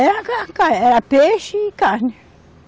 Era car, car, era peixe e carne.